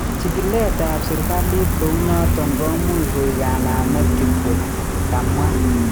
"Chikilet ab serikalitkounoton komuch koik kanamet kityok," kamwa.